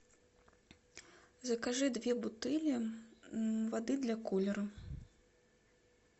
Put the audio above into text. закажи две бутыли воды для кулера